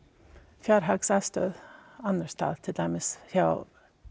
fjárhagsaðstoð annars staðar til dæmis hjá